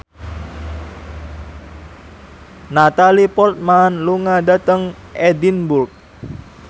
Natalie Portman lunga dhateng Edinburgh